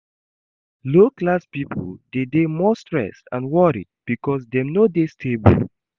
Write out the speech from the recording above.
Low class pipo de dey more stressed and worried because dem no de stable